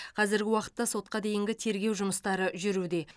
қазіргі уақытта сотқа дейінгі тергеу жұмыстары жүруде